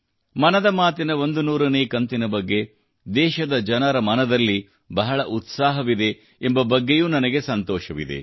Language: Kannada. ಮನದ ಮಾತಿನ 100 ನೇ ಕಂತಿನ ಬಗ್ಗೆ ದೇಶದ ಜನರ ಮನದಲ್ಲಿ ಬಹಳ ತ್ಸಾಹವಿದೆ ಎಂಬ ಬಗ್ಗೆಯೂ ನನಗೆ ಸಂತೋಷವಿದೆ